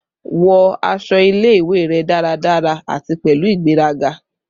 Wọ aṣọ ile-iwe rẹ daradara ati pẹlu igberaga